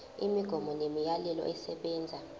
imigomo nemiyalelo esebenza